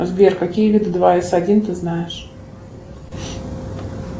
сбер какие виды два с один ты знаешь